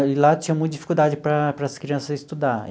E lá tinha muita dificuldade para para as crianças estudar.